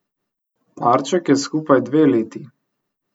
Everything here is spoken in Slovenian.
Parček je skupaj dve leti.